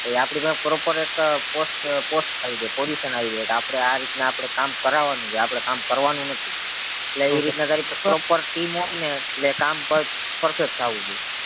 તો આપડી પાહે એક proper એક post post આવી જાય position આવી જાય કે આપડે આ રીતના કામ કરવાનું છે કામ કરવાનું નથી એટલે ઈ રીતના તારી proper team હોય ને એટલે કામ perfect થાવું જોઈએ